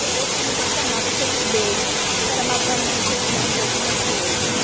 Aí eu fui me conformar com aqueles beijos, era matando uma necessidade de alguma coisa, né?